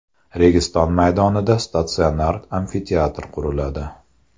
Registon maydonida statsionar amfiteatr quriladi.